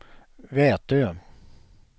Vätö